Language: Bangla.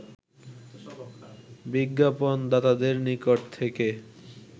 বিজ্ঞাপণদাতাদের নিকট থেকে